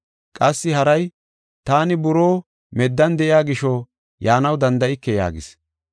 Qassi haray, ‘Taani buroo meddan de7iya gisho, yaanaw danda7ike’ yaagis.